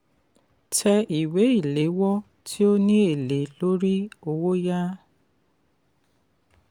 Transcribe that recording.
tẹ ìwé ìléwọ́ tí ó ní èlé lórí owó yá.